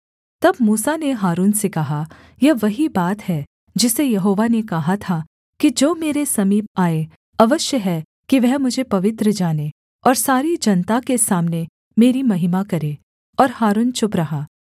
तब मूसा ने हारून से कहा यह वही बात है जिसे यहोवा ने कहा था कि जो मेरे समीप आए अवश्य है कि वह मुझे पवित्र जाने और सारी जनता के सामने मेरी महिमा करे और हारून चुप रहा